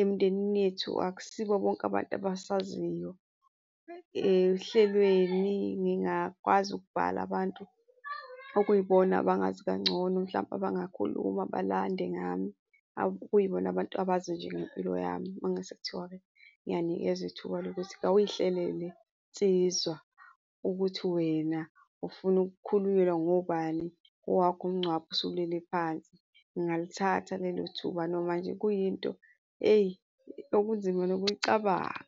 emndenini yethu akusibo bonke abantu abasaziyo. Ohlelweni ngingakwazi ukubhala abantu okuyibona abangazi kangcono, mhlampe abangakhuluma balande ngami, okuyibona abantu abazi nje ngempilo yami. Uma ngase kuthiwa-ke ngiyanikezwa ithuba lokuthi kawuy'hlelele nsizwa ukuthi wena ufuna ukukhulunyelwa ngobani kowakho umngcwabo usulele phansi. Ngingalithatha lelo thuba noma nje kuyinto hheyi, okunzima nokuyicabanga.